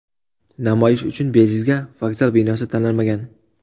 Namoyish uchun bejizga vokzal binosi tanlanmagan.